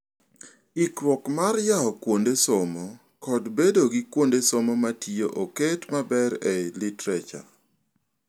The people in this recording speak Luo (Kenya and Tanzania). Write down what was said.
Ikruok mar yawo kuonde somo kod bedo gi kuonde somo matiyo oket maber e lioterature.